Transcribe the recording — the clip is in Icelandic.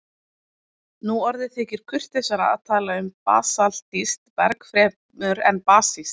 Nú orðið þykir kurteisara að tala um basaltískt berg fremur en basískt.